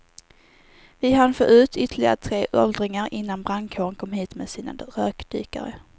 Vi hann få ut ytterligare tre åldringar innan brandkåren kom hit med sina rökdykare.